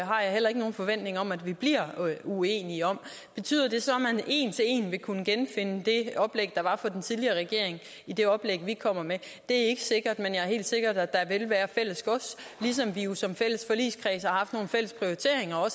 har jeg heller ikke nogen forventning om at vi bliver uenige om betyder det så at man en til en vil kunne genfinde det oplæg der var fra den tidligere regering i det oplæg vi kommer med det er ikke sikkert men det er helt sikkert at der vil være fælles gods ligesom vi jo som fælles forligskreds har haft nogle fælles prioriteringer og